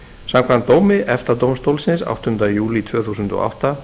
samkvæmt dómi efta dómstólsins áttunda júlí tvö þúsund og átta